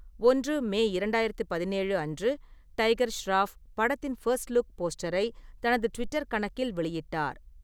ஒன்று மே இரண்டாயிரத்து பதினேழு அன்று, டைகர் ஷெராஃப் படத்தின் ஃபர்ஸ்ட் லுக் போஸ்டரை தனது ட்விட்டர் கணக்கில் வெளியிட்டார்.